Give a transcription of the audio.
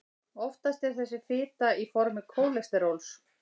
oftast er þessi fita á formi kólesteróls